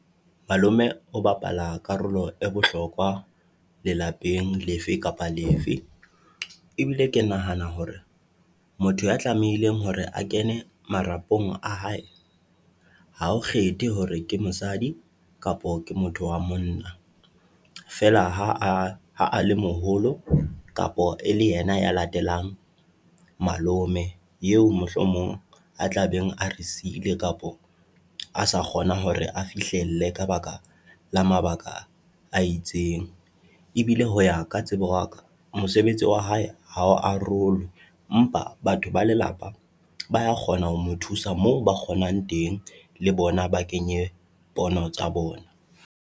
Malome o bapala karolo e bohlokwa lelapeng lefe kapa lefe ebile ke nahana hore motho ya tlamehileng hore a kene marapong a hae, ha ho kgethe hore ke mosadi kapo ke motho wa monna. Feela ha a ha a le moholo kapo e le yena ya latelang malome eo mohlomong a tlabeng, a re siile kapo a sa kgona hore a fihlelle ka baka la mabaka a itseng. Ebile ho ya ka tsebo waka mosebetsi wa hae ha o arolwe empa batho ba lelapa ba ya kgona ho mo thusa moo ba kgonang teng, le bona ba kenye pono tsa bona.